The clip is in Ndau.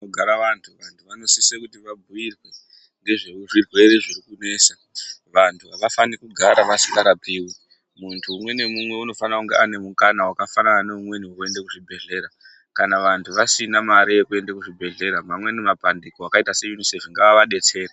Munogara vantu, vantu vanosise kuti vabhuirwe ngezvezvirwere zviri kunesa. Vantu avafaniri kugara vasingarapiwi, muntu mumwe nemumwe unofanira kunge une mukana wakafanana neweumweni wekuende kuzvibhedhlera. Kana vantu vasina mari yekuende kuzvibhedhlera mamweni mapandiko akaita seUNICEF ngaadetsere.